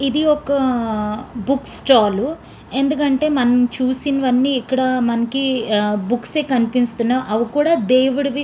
ఇది ఒక books stall ఎందుకంటే మనం చూసిన వన్నీ ఇక్కడ మనకి ఆహ్ బుక్స్ ఏ కనిపిస్తున్నాయి అవ్ కూడా దేవుడివి --